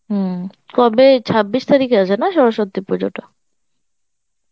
হম কবে ছাব্বিশ তারিখে আছে না সরস্বতী পূজা টা?